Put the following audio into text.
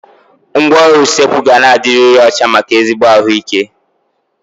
Ngwaọrụ usekwu ga na-adiriri ọcha maka ezigbo ahụ ike